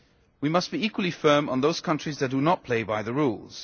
We must be equally firm on those countries that do not play by the rules.